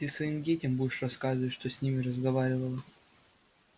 ты своим детям будешь рассказывать что с ним разговаривала